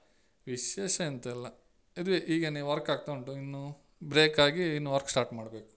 ವಿಶೇಷ ಎಂತ ಇಲ್ಲ ಇದುವೆ ಈಗ work ಆಗ್ತಾ ಉಂಟು ಇನ್ನು break ಆಗಿ ಇನ್ನು work start ಮಾಡ್ಬೇಕು.